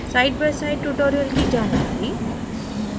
sidebyside tutorial की जानकारी